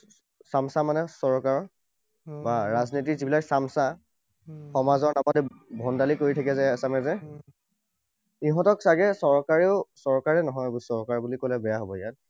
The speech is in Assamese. চামছা মানে চৰকাৰৰ, বা ৰাজনীতিৰ যিবিলাক চামছা, সমাজৰ নামত এই ভণ্ডামি কৰি থাকে যে এচামে যে, সিহঁতক চাগে চৰকাৰেও, চৰকাৰ নহয়, এইবোৰ চৰকাৰ বুলি কলে বেয়া হব ইয়াত,